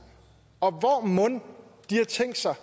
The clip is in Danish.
og hvor mon de har tænkt sig